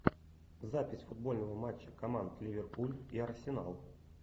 запись футбольного матча команд ливерпуль и арсенал